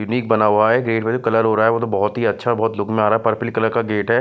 Unique बना हुआ है गेट में जो कलर हो रहा है वो तो बहुत ही अच्छा बहुत लुक में आ रहा है पर्पल कलर का गेट है।